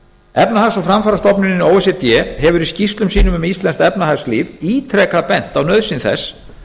efnahags og framfarastofnunin o e c d hefur í skýrslum sínum um íslenskt efnahagslíf ítrekað bent á nauðsyn þess